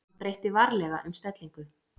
Hann breytti varlega um stellingu.